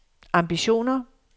ambitioner